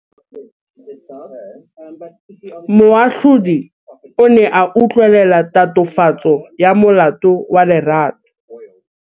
Moatlhodi o ne a utlwelela tatofatsô ya molato wa Lerato.